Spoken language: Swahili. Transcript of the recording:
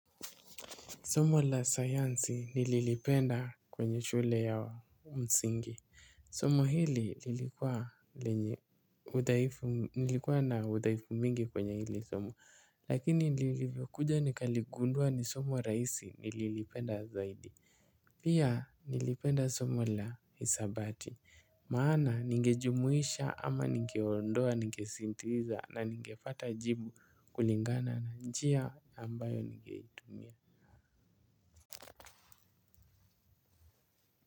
Somo la sayansi nililipenda kwenye shule ya msingi. Somo hili lilikuwa na udhaifu mingi kwenye hili somo. Lakini nilikuja nikaligundua ni somo raisi nililipenda zaidi. Pia nilipenda somo la hisabati. Maana nigejumuisha ama nigeondoa nigesintuiza na ningefata jibu kulingana na njia ambayo nigeitumia.